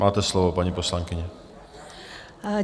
Máte slovo, paní poslankyně.